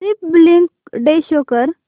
Republic Day show कर